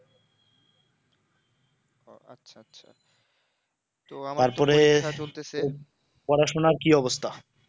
তারপরে তোর পড়াশোনার কি অবস্তা